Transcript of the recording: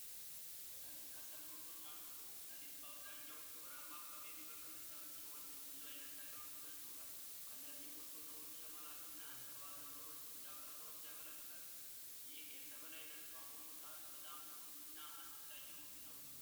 ሰሊጥ ከሰብል ምርቶች አንዱ ነው። ሰሊጥ በአብዛኛው በረሃማ አካባቢ የሚበቅል ሰብል ሲሆን፤ ለብዙ አይነት አገልግሎት ይውላል። ከእነዚህም ውስጥ ወደ ውጭ ለመላክ እና ለቅባት ነገሮች እንደ አቅርቦት ያገለግላል። ይህ የሰብል ዓይነት በአሁኑ ሰዓት ውዱ እና አስፈልጊው ነው።